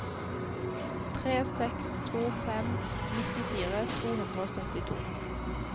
tre seks to fem nittifire to hundre og syttito